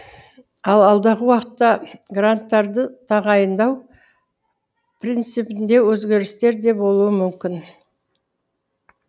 ал алдағы уақытта гранттарды тағайындау принципінде өзгерістер де болуы мүмкін